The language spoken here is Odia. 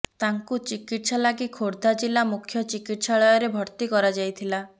ତାଙ୍କୁ ଚିକିତ୍ସା ଲାଗି ଖୋର୍ଧା ଜିଳ୍ଲା ମୁଖ୍ୟ ଚିକିତ୍ସାଳୟରେ ଭର୍ତି କରାଯାଇଥିଲା